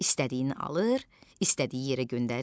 İstədiyini alır, istədiyi yerə göndərir.